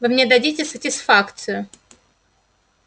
вы мне дадите сатисфакцию